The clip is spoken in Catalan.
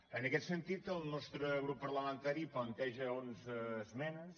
en aquest sentit el nostre grup parlamentari planteja onze esmenes